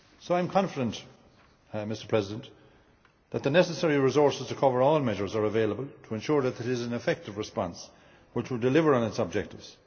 I am confident that the necessary resources to cover all measures are available to ensure that it is an effective response, which will deliver on its objectives.